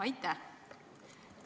Aitäh!